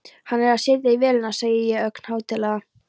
Hann er að setja í vélina, segi ég ögn hátíðlega.